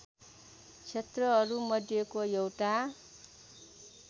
क्षेत्रहरू मध्येको एउटा